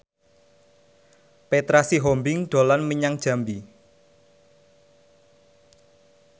Petra Sihombing dolan menyang Jambi